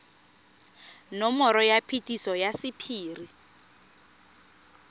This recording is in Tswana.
nomoro ya phetiso ya sephiri